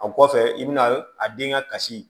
A kɔfɛ i bɛna a den ka kasi